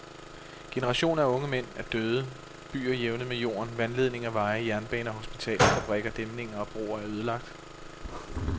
Generationer af unge mænd er døde, byer jævnet med jorden, vandledninger, veje, jernbaner, hospitaler, fabrikker, dæmninger og broer er ødelagt.